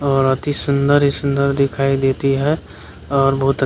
और अति सुंदर ही सुंदर दिखाई देती है और बहुत अच --